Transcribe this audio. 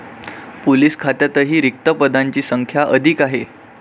Police खात्यातही रिक्त पदांची संख्या अधिक आहे.